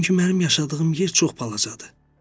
Çünki mənim yaşadığım yer çox balacadır.